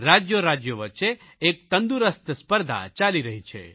રાજયોરાજયો વચ્ચે એક તંદુરસ્ત સ્પર્ધા ચાલી રહી છે